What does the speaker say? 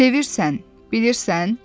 Sevirsən, bilirsən?